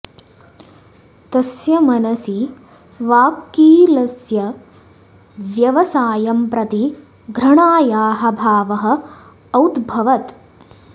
तस्य मनसि वाक्कीलस्य व्यवसायं प्रति घृणायाः भावः औद्भवत्